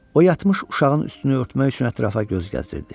O yatmış uşağın üstünü örtmək üçün ətrafa göz gəzdirdi.